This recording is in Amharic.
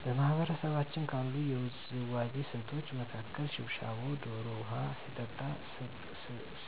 በማህበረሰባችን ካሉት የውዝዋዜ ስልቶች መካከል ሽብሻቦ ዶሮ ውሀ ሲጠጣ